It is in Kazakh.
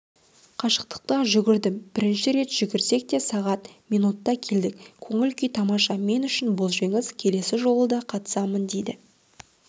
қашықтыққа жүгірдім бірінші рет жүгірсек те сағат минутта келдік көңіл-күй тамаша мен үшін бұл жеңіс келесі жолы да қатысамын дейді